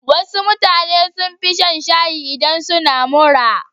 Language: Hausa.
Wasu mutanen sun fi shan shayi idan suna mura.